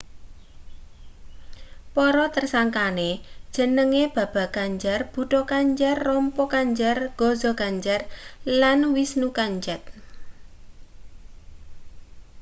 para tersangkane jenenge baba kanjar bhutha kanjar rampro kanjar gaza kanjar lan vishnu kanjat